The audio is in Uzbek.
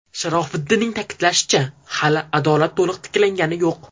Sharofiddinning ta’kidlashicha hali adolat to‘liq tiklangani yo‘q.